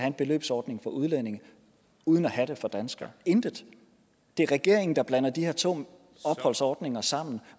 en beløbsordning for udlændinge uden at have den for danskere intet det er regeringen der blander de her to opholdsordninger sammen